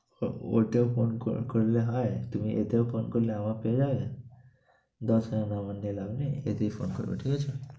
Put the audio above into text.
ওটায় phone করে করলে হয়, তুমি এটায় ও phone করলে আমায় পেয়ে যাবে। দশ~ নাম্বার নিয়ে লাভ নেই, এতেই phone করবে, ঠিক আছে?